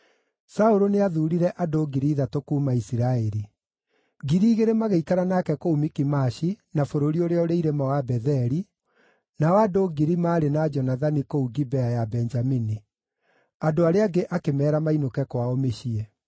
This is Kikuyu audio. Saũlũ nĩathuurire andũ ngiri ithatũ kuuma Isiraeli; ngiri igĩrĩ magĩikara nake kũu Mikimashi na bũrũri ũrĩa ũrĩ irĩma wa Betheli, nao andũ ngiri maarĩ na Jonathani kũu Gibea ya Benjamini. Andũ arĩa angĩ akĩmeera mainũke kwao mĩciĩ.